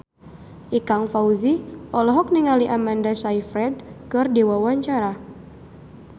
Ikang Fawzi olohok ningali Amanda Sayfried keur diwawancara